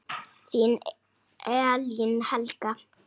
Þín Elín Helga.